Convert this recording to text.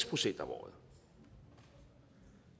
procent om året